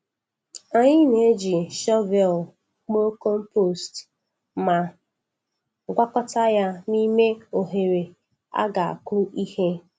Anyị na-eji shọvel kpoo compost ma gwakọta ya n’ime oghere a ga-akụ ihe.